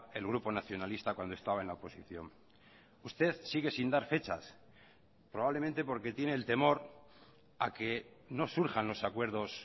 el grupo nacionalista cuando estaba en la oposición usted sigue sin dar fechas probablemente porque tiene el temor a que no surjan los acuerdos